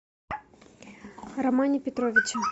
романе петровиче